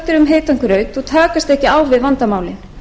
heitan graut og takast ekki á við vandamálin